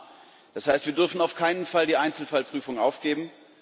Human das heißt, wir dürfen auf keinen Fall die Einzelfallprüfung aufgeben.